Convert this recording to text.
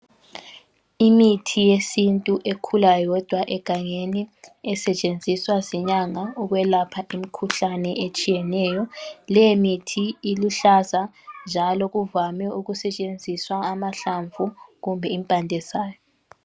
Imithi yesintu ekhula yodwa egangeni esetshenziswa zinyanga ukwelapha imkhuhlane etshiyeneyo. Leyo mithi iluhlaza njalo kuvame ukusetshenziswa amahlamvu kumbe impande zayo.